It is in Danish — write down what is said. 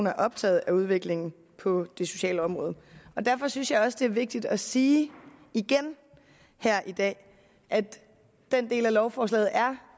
er optaget af udviklingen på det sociale område derfor synes jeg også det er vigtigt at sige igen her i dag at den del af lovforslaget